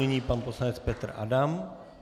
Nyní pan poslanec Petr Adam.